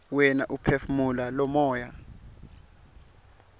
wena uphefumula lomoya